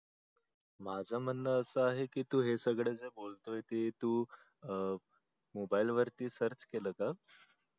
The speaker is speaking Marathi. माझ म्हणण आस आहे की तू हे सगळ जे बोलतोय ते तू मोबाइल वरती search केल का